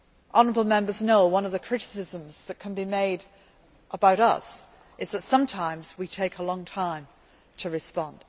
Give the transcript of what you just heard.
quickly. Honourable Members know that one of the criticisms which can be made about us is that sometimes we take a long time